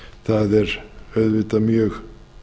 það er auðvitað mjög